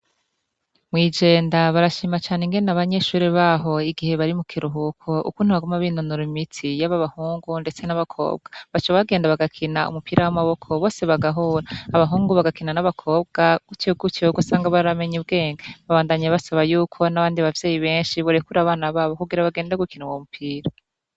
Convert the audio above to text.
Mwijenda barashima cane ingene abanyeshure baho igihe bari mu kiruhuko ukunti abagumu ab'inonuro imitsi y'abo abahungu, ndetse n'abakobwa baco bagenda bagakina umupira w'amaboko bose bagahura abahungu bagakina n'abakobwa gutegutyogo sanga baramenye ubwenge babandanye basaba yuko n'abandi abavyeyi benshi borekura abana babo kugira bagende gukia mumpira.